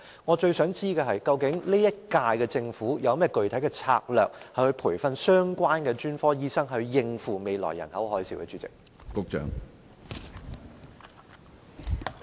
我最想知道的是，究竟本屆政府有何具體策略培訓相關的專科醫生，以應付未來的"人口海嘯"呢？